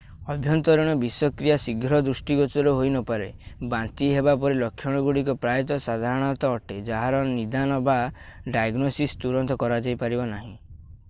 ଆଭ୍ୟନ୍ତରୀଣ ବିଷକ୍ରିୟା ଶୀଘ୍ର ଦୃଷ୍ଟିଗୋଚର ହୋଇନପାରେ i ବାନ୍ତି ହେବା ପରି ଲକ୍ଷଣଗୁଡ଼ିକ ପ୍ରାୟତଃ ସାଧାରଣ ଅଟେ ଯାହାର ନିଦାନ ବା ଡାଏଗ୍ନୋସିସ୍ ତୁରନ୍ତ କରାଯାଇପାରିବ ନାହିଁ